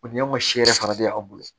O ni y'an ka si yɛrɛ fana bɛ aw bolo